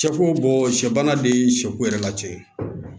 Sɛ ko sɛ bana de ye sɛko yɛrɛ la cɛ ye